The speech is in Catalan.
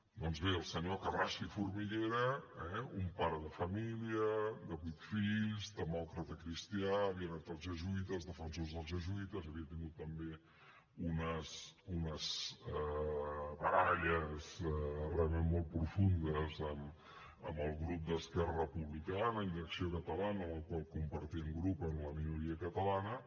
doncs bé el senyor carrasco i formiguera eh un pare de família de vuit fills demòcrata cristià havia anat als jesuïtes defensor dels jesuïtes havia tingut també unes baralles realment molt profundes amb el grup d’esquerra republicana i d’acció catalana amb el qual compartien grup en la minoria catalana